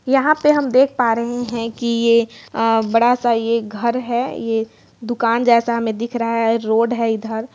यहाँ पर हम देख पा रहे हैं की ये अ बड़ा सा ये घर हैंये दूकान जैसा हमें दिख रहा हैं रोड है इधर।